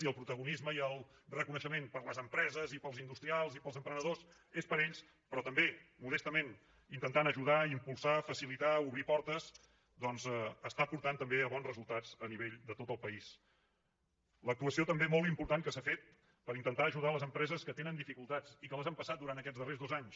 i el protagonisme i el reconeixement per a les empreses i per als industrials i per als emprenedors és per a ells però també modestament intentant ajudar impulsar facilitar obrir portes doncs està portant també a bons resultats a nivell de tot el paísl’actuació també molt important que s’ha fet per intentar ajudar les empreses que tenen dificultats i que les han passat durant aquests darrers dos anys